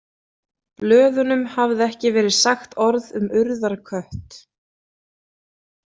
Blöðunum hafði ekki verið sagt orð um Urðarkött.